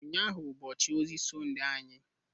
Ụnyahụ bụ ụbọchị ozi Sọnde anyị